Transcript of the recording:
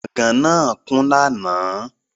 Gbọ̀gán náà kún lánàá